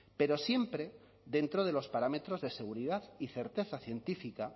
pero siempre dentro de los parámetros de seguridad y certeza científica